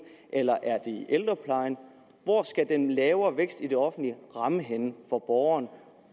eller er det i ældreplejen hvor skal den lavere vækst i det offentlige ramme henne for borgerne